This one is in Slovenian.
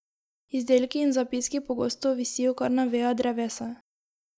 Izdelki in zapiski pogosto visijo kar na vejah drevesa.